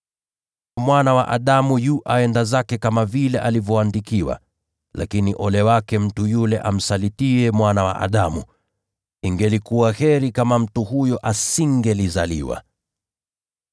Mwana wa Adamu anaenda zake kama vile alivyoandikiwa. Lakini ole wake mtu yule amsalitiye Mwana wa Adamu! Ingekuwa heri kwake mtu huyo kama hangezaliwa.”